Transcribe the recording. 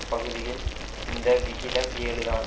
பகுதியில் இந்த விகிதம் ஏழு தான்